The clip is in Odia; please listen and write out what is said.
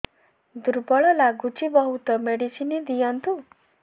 ଦୁର୍ବଳ ଲାଗୁଚି ବହୁତ ମେଡିସିନ ଦିଅନ୍ତୁ